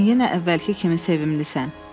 Sən yenə əvvəlki kimi sevimlisan.